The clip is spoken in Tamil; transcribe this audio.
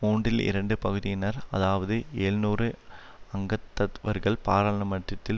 மூன்றில் இரண்டு பகுதியினர் அதாவது எழுநூறு அங்கத்தவர்கள் பாராளுமன்றத்தில்